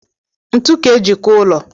Ntu ka e ji kụọ ụlọ